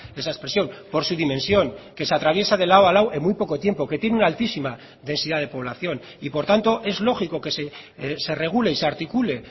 esa expresión por su dimensión que se atraviesa de lado a lado en muy poco tiempo que tiene una altísima densidad de población y por tanto es lógico que se regule y se articule